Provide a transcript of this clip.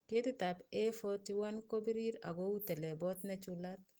Ketitab A41 ko birir ak kou telebot nechulat